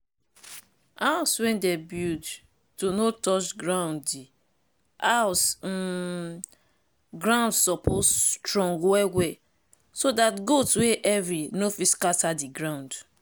house wey dem build to no touch grounddi house um ground suppose strong well well so dat goat wey heavy no fit scatter di ground.